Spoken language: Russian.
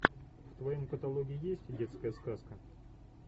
в твоем каталоге есть детская сказка